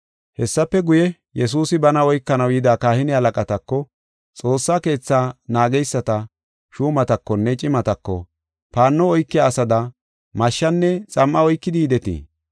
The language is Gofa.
Hessafe guye, Yesuusi bana oykanaw yida kahine halaqatako, Xoossa Keetha naageysata shuumatakonne cimatako, “Paanno oykiya asada mashshenne xam7a oykidi yidetii?